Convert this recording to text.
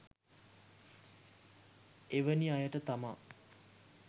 එවැනි අයට තමා